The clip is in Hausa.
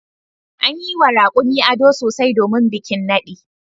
An yi wa raƙumin ado sosai domin bikin naɗi.